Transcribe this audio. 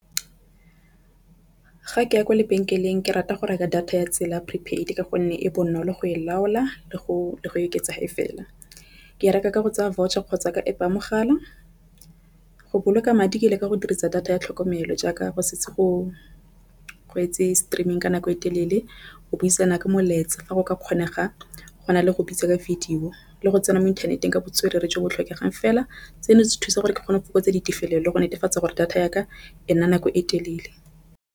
Ga ke ya kwa lebenkeleng ke rata go reka data ya tsela prepaid ka gonne e bonolo go e laola le go oketsa ha e fela. Ke e reka ka go tsaya voucher kgotsa ka App ya mogala go boloka madi ke le ka go dirisa data ya tlhokomelo jaaka go setse go etse streaming ka nako e telele go buisana ka molaetsa fa go ka kgonega go na le go bitsa ka video go le go tsena mo inthaneteng ka botswerere jo bo tlhokegang fela. Seno se thusa gore ke kgone go fokotsa ditefelelo le go netefatsa gore data ya ka ena nako e telele.